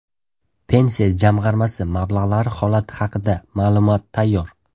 Pensiya jamg‘armasi mablag‘lari holati haqida ma’lumot tayyor!